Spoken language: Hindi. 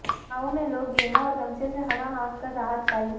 गांवो मे लोग बेना और गमछे से हवा हांक कर राहत पायी